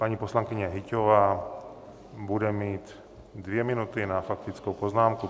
Paní poslankyně Hyťhová bude mít dvě minuty na faktickou poznámku.